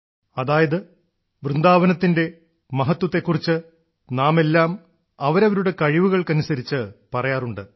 അതായത് വൃന്ദാവനത്തിന്റെ മഹത്വത്തെ കുറിച്ച് നാമെല്ലാം അവരവരുടെ കഴിവുകൾക്കനുസരിച്ച് പറയാറുണ്ട്